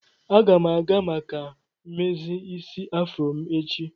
Aga m aga maka mmezi isi afro m echi.